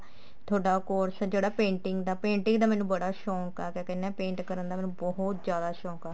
ਤੁਹਾਡਾ course ਜਿਹੜਾ painting ਦਾ painting ਦਾ ਮੈਨੂੰ ਬੜਾ ਸ਼ੋਂਕ ਆ ਕਿਆ ਕਹਿਨੇ ਆ paint ਕਰਨ ਦਾ ਮੈਨੂੰ ਬਹੁਤ ਜ਼ਿਆਦਾ ਸ਼ੋਂਕ ਆ